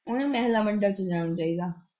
ਉਹਨੂੰ ਮਹਿਲਾਂ ਮੰਡਲ ਚ ਜਾਣਾ ਚਾਹੀਦਾ।